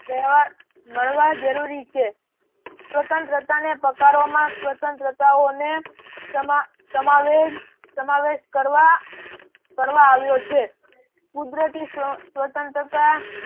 મળવા જરૂરી છે. સ્વતંત્રતાને પકડાવે સ્વતંત્રાઓને સમાવેશ સમાવેશ કરવા આવ્યો છે કુદરતી સ્વતંત્રતા